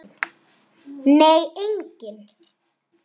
Nei, enginn